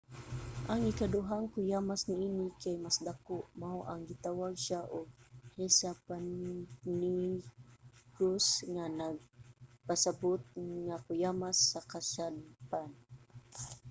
ang ikaduhang kuyamas niini kay mas dako mao nang gitawag siya og hesapannychus nga nagpasabot nga kuyamas sa kasadpan.